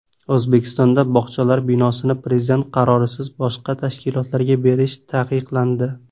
O‘zbekistonda bog‘chalar binosini prezident qarorisiz boshqa tashkilotlarga berish taqiqlandi.